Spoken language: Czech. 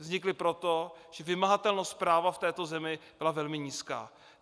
Vznikli proto, že vymahatelnost práva v této zemi byla velmi nízká.